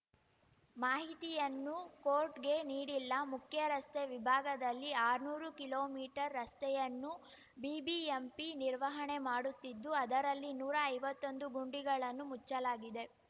ಮಾಹಿತಿಯನ್ನು ಕೋರ್ಟ್‌ಗೆ ನೀಡಿಲ್ಲ ಮುಖ್ಯರಸ್ತೆ ವಿಭಾಗದಲ್ಲಿ ಆರ್ನೂರು ಕಿಲೋಮೀಟರ್ ರಸ್ತೆಯನ್ನುಬಿಬಿಎಂಪಿ ನಿರ್ವಹಣೆ ಮಾಡುತ್ತಿದ್ದು ಅದರಲ್ಲಿ ನೂರಾ ಐವತ್ತೊಂದು ಗುಂಡಿಗಳನ್ನು ಮುಚ್ಚಲಾಗಿದೆ